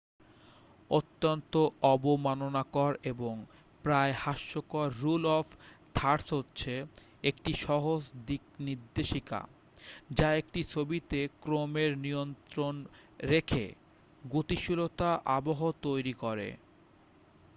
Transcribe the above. অত্যন্ত-অবমাননাকর এবং প্রায়-হাস্যকর rule of thirds হচ্ছে একটি সহজ দিকনির্দেশিকা যা একটি ছবিতে ক্রমের নিয়ন্ত্রণ রেখে গতিশীলতার আবহ তৈরি করে